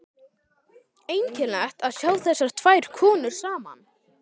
Einkennilegt að sjá þessar tvær konur saman.